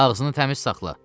Ağzını təmiz saxla.